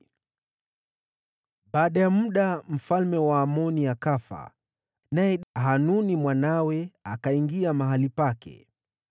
Baada ya muda, mfalme wa Waamoni akafa, naye Hanuni mwanawe akaingia mahali pake.